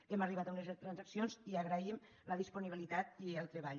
hem arribat a unes transaccions i agraïm la disponibilitat i el treball